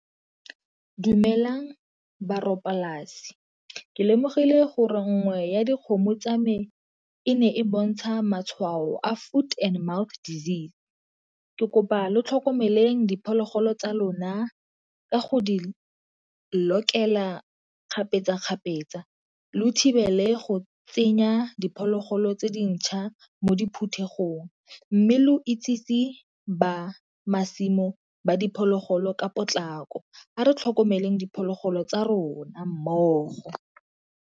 Dumelang polasi ke lemogile gore nngwe ya dikgomo tsa me e ne e bontsha matshwao a foot and mouth disease, ke kopa lo tlhokomeleng diphologolo tsa lona ka go di lokela kgapetsa kgapetsa lo thibele go tsenya diphologolo tse dintšha mo diphuthegong. Mme lo itsiseng ba masimo ba diphologolo ka potlako, a re tlhokomeleng diphologolo tsa rona mmogo.